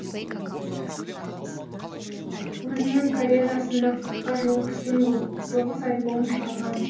өзінің карьерасында қырыққа жуық сингл тоғыз альбом шығарған